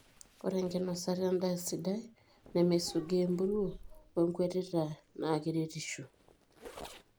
Ore enkinosata enda sidai, nemisugaa empuruo, wenkwetita na keretisho.